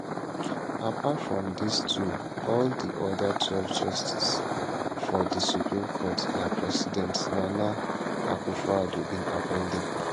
apart from dis two all di oda twelve justices for di supreme court na president nana akufoaddo bin appoint dem